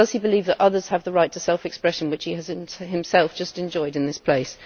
Does he believe that others have the right to self expression which he has himself just enjoyed in this place?